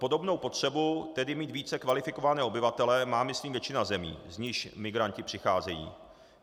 Podobnou potřebu, tedy mít více kvalifikované obyvatele, má myslím většina zemí, z nichž migranti přicházejí.